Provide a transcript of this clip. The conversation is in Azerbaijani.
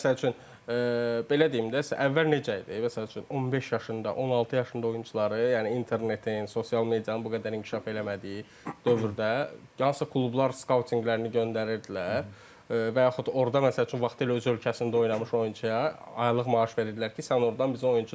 Yəni məsəl üçün belə deyim də, əvvəl necə idi məsəl üçün 15 yaşında, 16 yaşında oyunçuları, yəni internetin, sosial medianın bu qədər inkişaf eləmədiyi dövrdə hansısa klublar skautinqlərini göndərirdilər və yaxud orda məsəl üçün vaxtilə öz ölkəsində oynamış oyunçuya aylıq maaş verirdilər ki, sən ordan bizə oyunçu tap.